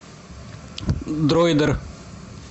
дроидер